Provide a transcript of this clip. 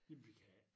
Jamen vi kan ik